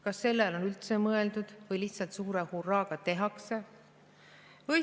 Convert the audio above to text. Kas sellele on üldse mõeldud või lihtsalt suure hurraaga tehakse?